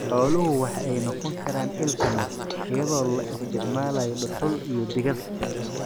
Xooluhu waxa ay noqon karaan il tamar iyadoo la isticmaalayo dhuxul iyo digada.